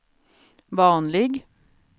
vanlig